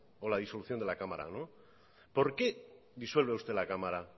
o la disolución de la cámara por qué disuelve usted la cámara